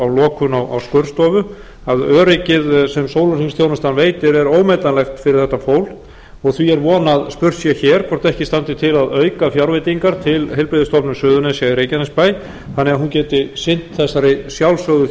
lokun á skurðstofu að öryggið sem sólarhringsþjónusta veitir er ómetanlegt fyrir þetta fólk og því er von að spurt sé hér hvort ekki standi til að auka fjárveitingar til heilbrigðisstofnunar suðurnesja í reykjanesbæ þannig að hún geti sinnt þessari sjálfsögðu